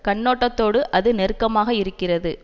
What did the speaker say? கண்ணோட்டத்தோடு அது நெருக்கமாக இருக்கிறது